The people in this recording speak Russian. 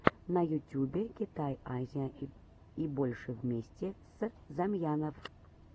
на ютюбе китай азия и больше вместе с замьянов